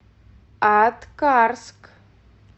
аткарск